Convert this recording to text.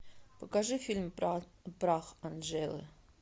покажи фильм про прах анжелы